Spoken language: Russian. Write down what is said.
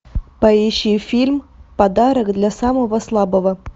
поищи фильм подарок для самого слабого